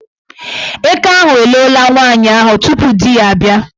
Eke ahụ eloola nwaanyị ahụ tupu di ya abịa.